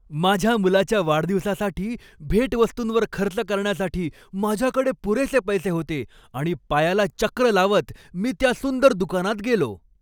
माझ्या मुलाच्या वाढदिवसासाठी भेटवस्तूंवर खर्च करण्यासाठी माझ्याकडे पुरेसे पैसे होते आणि पायाला चक्र लावत मी त्या सुंदर दुकानात गेलो.